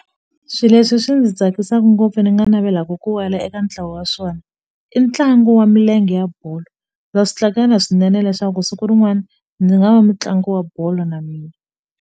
Swi leswi swi ni tsakisaku ngopfu ni nga navelaku ku wela eka ntlawa wa swona i ntlangu wa milenge ya bolo na swinene leswaku siku rin'wana ndzi nga va mutlangi wa bolo na mina.